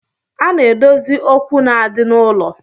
A na-edozi okwu na-adi n'ụlọ